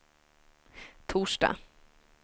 torsdag